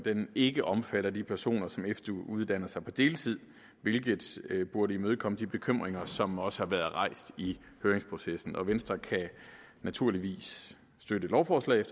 ikke omfatter de personer som efteruddanner sig på deltid hvilket burde imødekomme de bekymringer som også har været rejst i høringsprocessen venstre kan naturligvis støtte lovforslaget